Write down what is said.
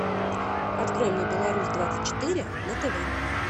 открой мне беларусь двадцать четыре на тв